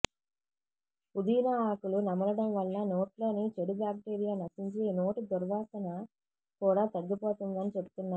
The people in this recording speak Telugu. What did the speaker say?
పుదీనా ఆకులు నమలడం వల్ల నోట్లోని చెడు బాక్టీరియా నశించి నోటి దుర్వాసన కూడా తగ్గిపోతుందని చెప్తున్నారు